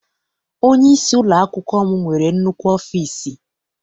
Onyeisi ụlọakwụkwọ m nwere nnukwu ọfịịsi.